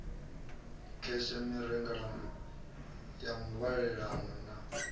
kheshe mirengelano ya muvhalelano na